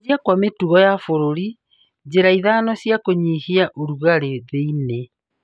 Gũcenjia gwa mĩtugo ya bũruri: Njĩra ithano cia kunyihia ũrugarĩ thĩ-inĩ.